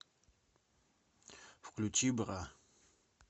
включи бра